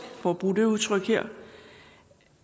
for at bruge det udtryk her